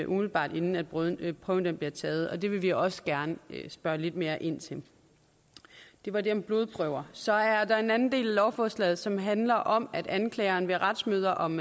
umiddelbart inden prøven prøven bliver taget og det vil vi også gerne spørge lidt mere ind til det var det om blodprøver så er der en anden del af lovforslaget som handler om at anklageren ved retsmøder om